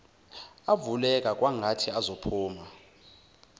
avuleka kwangathi azophuma